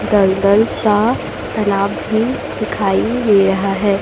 दलदल सा तालाब भी दिखाई दे रहा है।